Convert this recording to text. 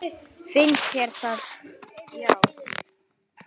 Finnst þér það já.